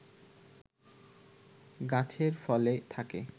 গাছে ফলে থাকে